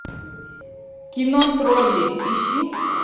кино тролли ищи